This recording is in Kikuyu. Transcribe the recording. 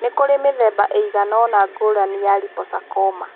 Nĩ kũrĩ mĩthemba ĩigana ũna ngũrani ya liposarcoma.